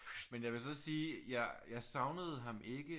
Men jeg vil så sige jeg jeg savnede ham ikke